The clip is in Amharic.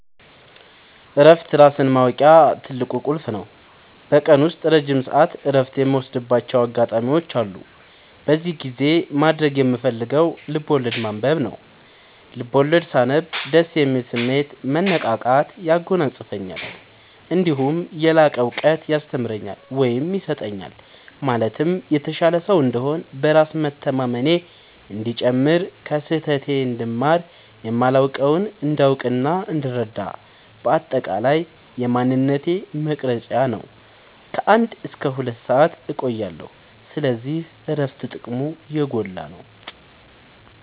እረፍት ራስን ማወቂያ ትልቁ ቁልፍ ነው። በቀን ውስጥ ረጅም ሰዓት እረፍት የምወስድባቸው አጋጣዎች አሉ። በዚህ ጊዜ ማድረግ የምፈልገው ልብዐወለድ ማንበብ ነው፤ ልቦለድ ሳነብ ደስ የሚል ስሜት፣ መነቃቃት ያጎናፅፈኛል። እነዲሁም የላቀ እውቀት ያስተምረኛል ወይም ይሰጠኛል ማለትም የተሻለ ሰው እንድሆን፣ በራስ መተማመኔ እንዲጨምር፣ ከስህተቴ እንድማር፣ የማላውቀውን እንዳውቅናእንድረዳ በአጠቃላይ የማንነቴ መቅረጽያ ነው። ከ አንድ እስከ ሁለት ሰአት እቆያለሁ። ስለዚህ እረፍት ጥቅሙ የጎላ ነው።